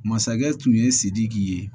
Masakɛ tun ye sidiki ye